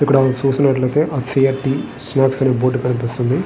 ఇక్కడ మనం చూసినట్లయితే అనె బోర్డు కనిపిస్తున్నది.